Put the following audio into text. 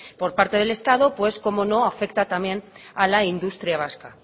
por parte del estado pues cómo no afecta también a la industria vasca